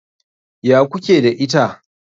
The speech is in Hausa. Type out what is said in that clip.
Ya ku ke da ita?